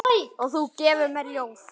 Og þú gefur mér ljóð.